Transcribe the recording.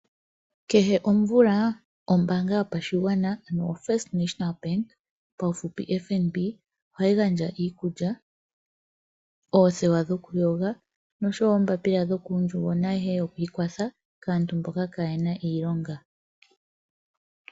Kehe omvula ombaanga yopashigwana ano o First Namibia Bank paufupi oFNB ohayi gandja iikulya, oothewa dhokuyoga noshowo oombaapila dhokuundjugo naayihe yokwiikwatha kaantu mboka kaayena iilonga.